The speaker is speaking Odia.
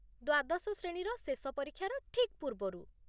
ଦ୍ବାଦଶ ଶ୍ରେଣୀର ଶେଷ ପରୀକ୍ଷାର ଠିକ୍ ପୂର୍ବରୁ